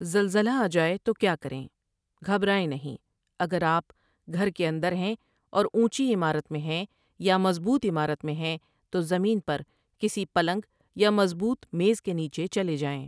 زلزلہ آجائے تو کیا کریں؟ گھبرائیں نہیں اگر آپ گھر کے اندر ہیں اوراونچی عمارت میں ہیں یا مضبوط عمارت میں ہیں تو زمین پر کسی پلنگ یا مضبوط میز کےنیچے چلے جائیں ۔